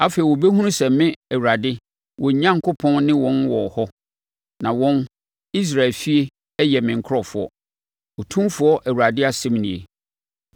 Afei wɔbɛhunu sɛ me Awurade, wɔn Onyankopɔn ne wɔn wɔ hɔ, na wɔn, Israel efie yɛ me nkurɔfoɔ, Otumfoɔ Awurade asɛm nie.